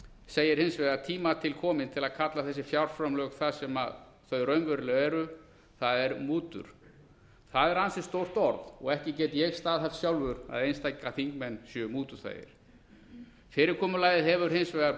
segir hins vegar tíma til kominn til að kalla þessi fjárframlög það sem þau raunverulega eru það er mútur það er ansi stórt orð og ekki get ég staðhæft sjálfur að einstaka þingmenn séu mútuþægir fyrirkomulagið hefur hins vegar